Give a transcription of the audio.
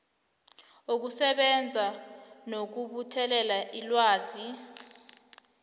wokusebenza nokubuthelela ilwazi